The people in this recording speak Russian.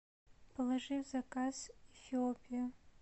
положи в заказ эфиопию